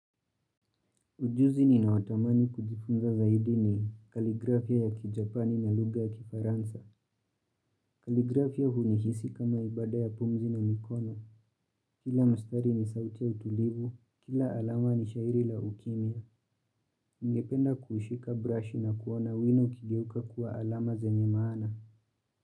Ujuzi ni ninaotamani kujifunza zaidi ni kaligrafia ya kijapani na lugha ya kifaransa. Kaligrafia hunihisi kama ibada ya pumzi na mikono. Kila mstari ni sauti ya utulivu. Kila alama ni shairi la ukimia. Ningependa kushika brush na kuona wino ukigeuka kuwa alama zenye maana.